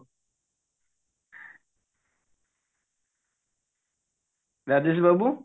Rajesh babu